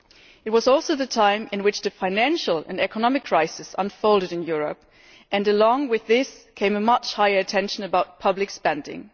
It was also the time at which the financial and economic crisis was unfolding in Europe, and along with this came much higher tension over public spending.